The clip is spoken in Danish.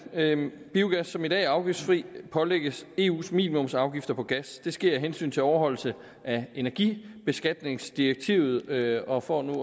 biogas som i dag er afgiftsfri pålægges eus minimumsafgifter på gas det sker af hensyn til overholdelse af energibeskatningsdirektivet og for nu